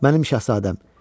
Mənim Şahzadəm.